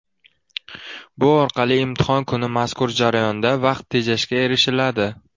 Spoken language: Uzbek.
Bu orqali imtihon kuni mazkur jarayonda vaqt tejashga erishiladi.